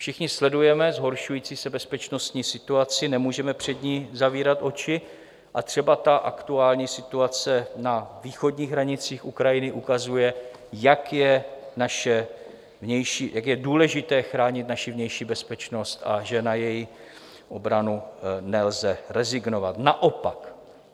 Všichni sledujeme zhoršující se bezpečnostní situaci, nemůžeme před ní zavírat oči, a třeba aktuální situace na východních hranicích Ukrajiny ukazuje, jak je důležité chránit naši vnější bezpečnost a že na její obranu nelze rezignovat, naopak.